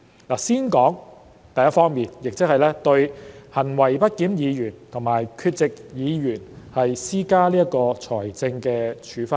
我想先談第一方面，即對"行為不檢議員"和"缺席議員"施加財政處分。